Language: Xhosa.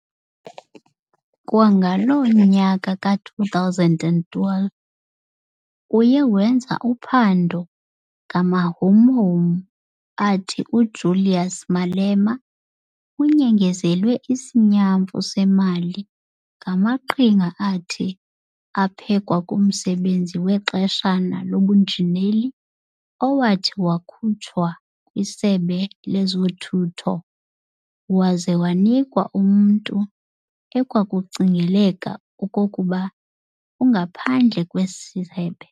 Kwangaloo nyaka ka-2012, uye wenza uphando ngamahumhum athi uJulius Malema unyengezelwe isinyamfu semali ngamaqhinga athi aphekwa kumsebenzi wexeshana webunjineli owathi wakhutshwa kwisebe lezothutho, waza wanikwa umnntu ekwakucingeleka okokuba ungaphandle kwesi sebe.